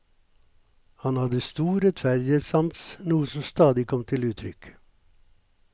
Han hadde stor rettferdighetssans, noe som stadig kom til uttrykk.